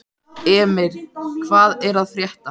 Emir, hvað er að frétta?